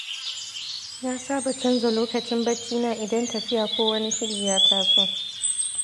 Na saba canza lokacin baccina idan tafiya ko wani shiri ya taso.